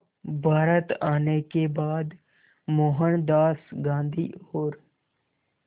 भारत आने के बाद मोहनदास गांधी और